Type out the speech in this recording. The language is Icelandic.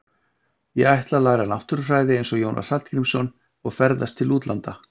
Ég ætla að læra náttúrufræði eins og Jónas Hallgrímsson og ferðast til útlanda.